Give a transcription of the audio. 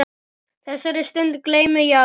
Þessari stund gleymi ég aldrei.